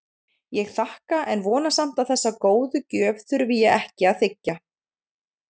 Ég þakka en vona samt að þessa góðu gjöf þurfi ég ekki að þiggja.